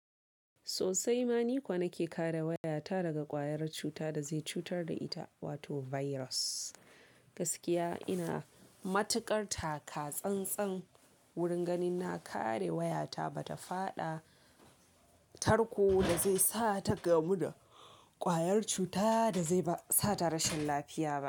Sosai ma ni kuwa nake kare wayata daga ƙwayar cuta da zai cutar da ita, wato virus. Gaskiya ina matuƙar taka tsan-tsan wurin ganin na kare wayata bata faɗa tarko da zai sa ta gamu da ƙwayar cuta da zai ba sa ta rashin lafiya ba.